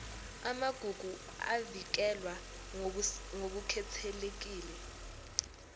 amagugu avikelwe ngokukhethekile